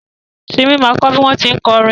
Simi ma kọ́ bí wọ́n tí ń kọrin